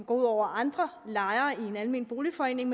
ud over andre lejere i en almen boligforening